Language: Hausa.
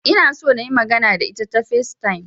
Ina so nayi magana da ita ta Facetime